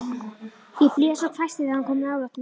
Ég blés og hvæsti þegar hann kom nálægt mér.